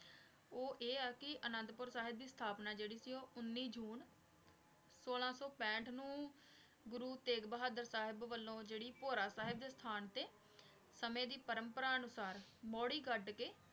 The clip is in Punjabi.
ਊ ਆਯ ਆ ਕੀ ਅਨਾਦ ਪੂਰ ਸਾਹਿਬ ਦੀ ਅਸ੍ਥਾਪ੍ਨਾ ਜੇਰੀ ਸੀ ਊ ਉਨੀ ਸੂਚੀ ਸੋਲਾਂ ਸੂ ਪੰਥ ਨੂ ਗੁਰੂ ਤੇਘ ਬਹਾਦੁਰ ਸਾਹਿਬ ਵਲੋਂ ਜੇਰੀ ਪੋਰ ਸਾਹਿਬ ਦੇ ਅਸਥਾਨ ਤੇ ਸਮੇ ਦੀ ਪਰਮ੍ਪਰਾ ਅਨੁਸਾਰ ਮੋਰੀ ਕਦ ਕੇ